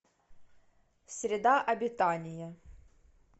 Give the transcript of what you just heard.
среда обитания